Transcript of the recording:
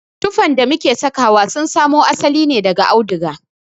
Tuffan da muke sawa sun samo asali ne daga auduga.